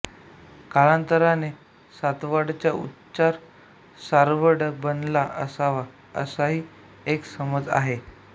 कालांतराने सातवडचा उच्चार सासवड बनला असावा असाही एक समज आहे